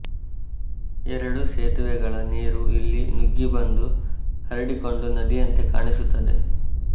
ಎರಡು ಸೇತುವೆಗಳ ನೀರು ಇಲ್ಲಿ ನುಗ್ಗಿ ಬಂದು ಹರಡಿಕೊಂಡು ನದಿಯಂತೆ ಕಾಣಿಸುತ್ತದೆ